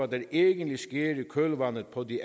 der egentlig sker i kølvandet på de